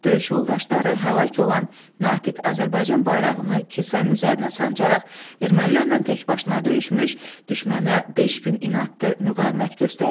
Döyüş yoldaşları həlak olan Natiq Azərbaycan bayrağını kilsənin üzərinə sancaraq ermənilərlə təkbaşına döyüşmüş, düşmənə beş gün inadlı müqavimət göstərmişdi.